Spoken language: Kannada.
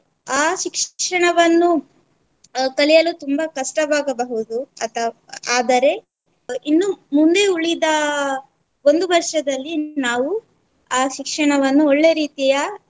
ಆ ಶಿಕ್ಷಣವನ್ನು ಕಲಿಯಲು ತುಂಬಾ ಕಷ್ಟವಾಗಬಹುದು ಅಥ~ ಆದರೆ ಇನ್ನೂ ಮುಂದೆ ಉಳಿದ ಒಂದು ವರ್ಷದಲ್ಲಿ ನಾವು ಆ ಶಿಕ್ಷಣವನ್ನು ಒಳ್ಳೆ ರೀತಿಯ